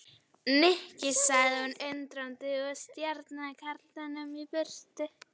Nikki sagði hún undrandi og stjakaði karlinum í burtu.